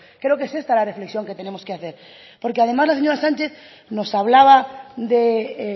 creo que es esta la reflexión que tenemos que hacer porque además la señora sánchez nos hablaba de